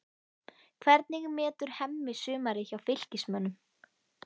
Hvernig metur Hemmi sumarið hjá Fylkismönnum?